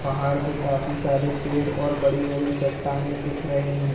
पहाड़ पे काफी सारे पेड़ और बड़ी-बड़ी चट्टानें दिख रही हैं।